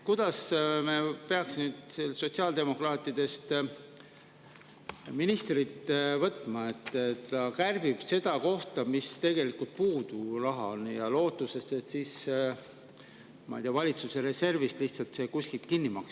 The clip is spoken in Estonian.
Kuidas me peaks nüüd sotsiaaldemokraadist ministrist, kui ta kärbib seda kohta, kus tegelikult raha on puudu, lootuses, ma ei tea, et see lihtsalt kuskilt valitsuse reservist kinni makstakse?